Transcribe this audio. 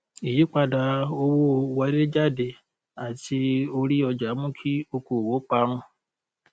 ìyípadà owó wọléjáde àti orí ọjà mú kí okòòwò parun